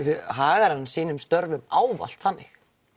hagar hann sínum störfum ávallt þannig